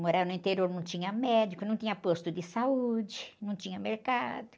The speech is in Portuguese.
Morar no interior não tinha médico, não tinha posto de saúde, não tinha mercado.